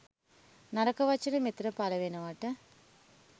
නරක වචන මෙතන පලවෙනවට.